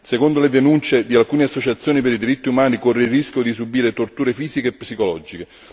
Secondo le denunce di alcune associazioni per i diritti umani, corre il rischio di subire torture fisiche e psicologiche.